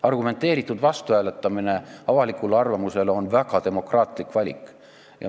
Argumenteeritud vastuhääletamine avalikule arvamusele on väga demokraatlik valik.